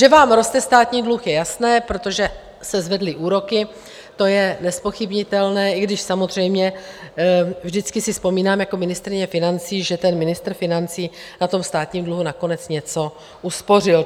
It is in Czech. Že vám roste státní dluh, je jasné, protože se zvedly úroky, to je nezpochybnitelné, i když samozřejmě vždycky si vzpomínám jako ministryně financí, že ten ministr financí na tom státním dluhu nakonec něco uspořil.